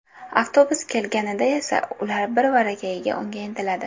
Avtobus kelganida esa ular birvarakayiga unga intiladi.